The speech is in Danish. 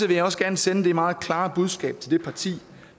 vil jeg også gerne sende det meget klare budskab til det parti